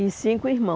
E cinco